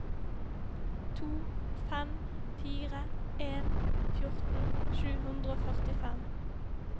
to fem fire en fjorten sju hundre og førtifem